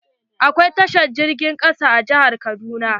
Akwai tashar jirgin ƙasa a jihar kaduna.